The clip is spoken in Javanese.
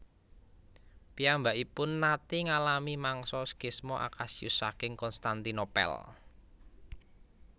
Piyambakipun naté ngalami mangsa skisma Acasius saking Konstantinopel